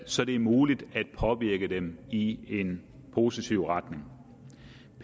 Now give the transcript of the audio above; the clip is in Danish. så det er muligt at påvirke dem i en positiv retning